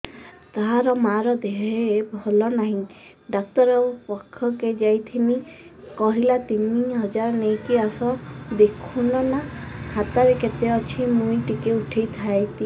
ତାର ମାର ଦେହେ ଭଲ ନାଇଁ ଡାକ୍ତର ପଖକେ ଯାଈଥିନି କହିଲା ତିନ ହଜାର ନେଇକି ଆସ ଦେଖୁନ ନା ଖାତାରେ କେତେ ଅଛି ମୁଇଁ ଟିକେ ଉଠେଇ ଥାଇତି